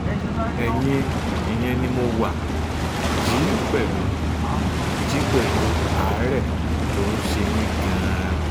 ẹ̀yìn ìyẹn ni mo wá jí pẹ̀lú jí pẹ̀lú àárẹ̀ tó ń ṣe mí gan-an